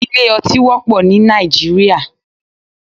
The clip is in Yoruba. Ilé ọtí wọ́pọ̀ ní Nàìjíríà